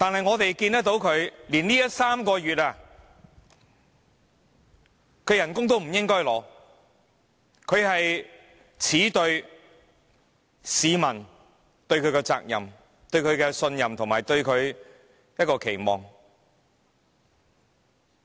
我們認為他連這3個月薪酬都不應該領取，他是耻對市民交託給他的責任、對他的信任及期望。